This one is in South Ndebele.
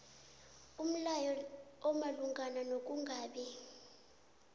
umlayo omalungana nokungabi